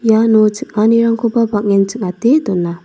iano ching·anirangkoba bang·en ching·ate dona.